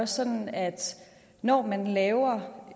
sådan at når man laver